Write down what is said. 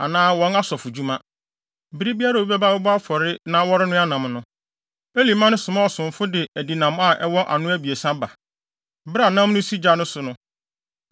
anaa wɔn asɔfodwuma. Bere biara a obi bɛba abɛbɔ afɔre na wɔrenoa nam no, Eli mma no soma ɔsomfo de adinam a ɛwɔ ano abiɛsa ba. Bere a nam no si gya so no,